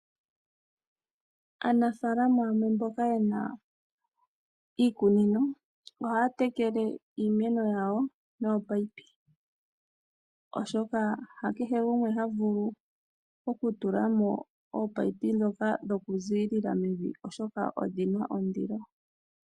Aanafaalama yamwe mboka ye na iikunino ohaya tekele iimeno yawo nominino, oshoka ha kehe fumwe ha vulu okutula mo ominino ndhoka dhokuziilila mevi, oshoka odhi na ondilo.